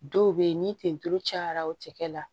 Dɔw bɛ yen ni tenduturu cayara o cɛkɛ la